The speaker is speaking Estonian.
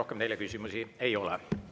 Rohkem teile küsimusi ei ole.